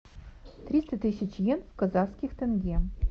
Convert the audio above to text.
триста тысяч йен в казахских тенге